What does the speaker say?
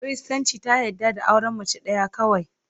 Kiristanci ta yarda da auren mace ɗaya kawai.